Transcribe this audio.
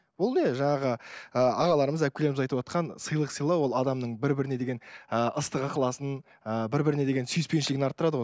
ол не жаңағы ыыы ағаларымыз әпкелеріміз айтыватқан сыйлық сыйлау ол адамның бір біріне деген ыыы ыстық ықыласын ыыы бір біріне деген сүйіспеншілігін арттырады ғой